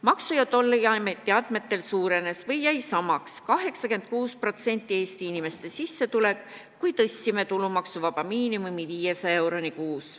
Maksu- ja Tolliameti andmetel suurenes või jäi samaks 86% Eesti inimeste sissetulek, kui me tõstsime tulumaksuvaba miinimumi 500 eurole kuus.